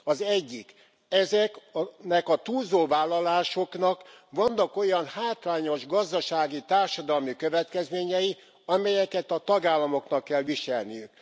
Az egyik ezeknek a túlzó vállalásoknak vannak olyan hátrányos gazdasági, társadalmi következményei, amelyeket a tagállamoknak kell viselniük.